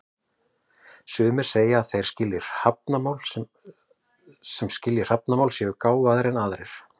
Sumir segja að þeir sem skilji hrafnamál séu gáfaðri en aðrir.